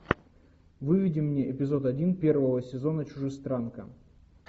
выведи мне эпизод один первого сезона чужестранка